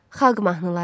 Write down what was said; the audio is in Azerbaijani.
Xalq mahnıları.